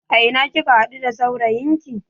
A ina kika haɗu da saurayin ki?